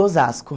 Osasco.